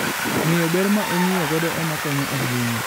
Ng'eyo ber ma ong'iyo godo ema konyo ahinya.